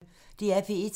DR P1